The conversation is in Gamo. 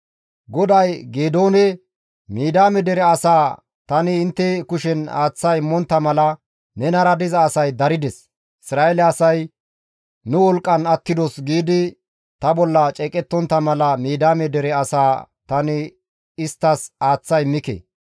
GODAY Geedoone, «Midiyaame dere asaa tani intte kushen aaththa immontta mala nenara diza asay darides; Isra7eele asay, ‹Nu wolqqan attidos› giidi ta bolla ceeqettontta mala Midiyaame dere asaa tani isttas aaththa immike.